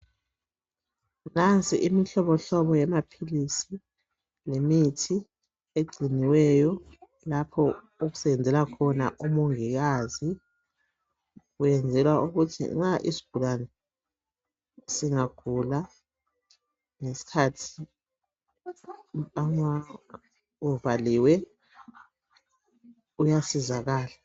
Nansi imihlobohlobo yamaphilisi lemithi egciniweyo lapho okusebenzela khona umongikazi. Wenzela ukuthi nxa isigulane singagula ngesikhathi sekuvaliwe, uyasizakala